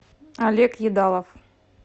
олег едалов